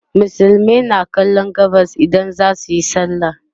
musulmai na kallon gabas idan zasuyi sallah